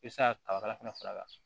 I bɛ se ka kabakala fana